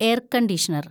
air‍ conditioner‍